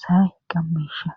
sa7ay qammeesha.